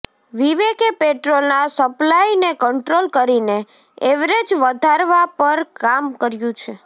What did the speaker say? વિવેકે પેટ્રોલના સપ્લાયને કંટ્રોલ કરીને એવરેજ વધારવા પર કામ કર્યું છે